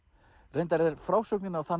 reyndar er frásögnin á þann